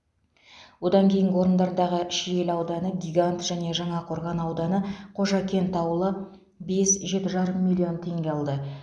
одан кейінгі орындардағы шиелі ауданы гигант және жаңақорған ауданы қожакент ауылы бес жеті жарым миллион теңге алды